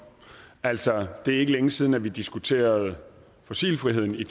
altså det er ikke længe siden at vi diskuterede fossilfriheden i